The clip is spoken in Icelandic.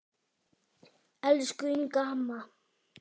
Elsku Inga amma.